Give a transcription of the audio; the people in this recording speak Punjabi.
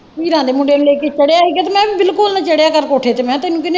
ਚੀਰਾਂ ਦੇ ਮੁੰਡੇ ਨੂੰ ਲੈ ਕੇ ਚੜ੍ਹਿਆ ਹੀ ਗਾ ਤੇ ਮੈਂ ਕਿਹਾ ਬਿਲਕੁਲ ਨਾ ਚੜ੍ਹਿਆ ਕਰ ਕੋਠੇ ਤੇ ਮੈਂ ਕਿਹਾ ਤੈਨੂੰ ਕਿੰਨੇ।